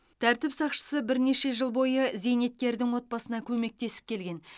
тәртіп сақшысы бірнеше жыл бойы зейнеткердің отбасына көмектесіп келген